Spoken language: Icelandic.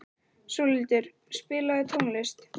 Sólhildur, spilaðu tónlist.